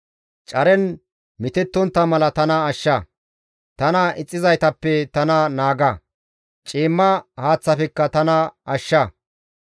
Caren mitettontta mala tana ashsha. Tana ixxizaytappe tana naaga; ciimma haaththafekka tana ashsha.